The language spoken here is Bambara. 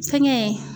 Fɛngɛ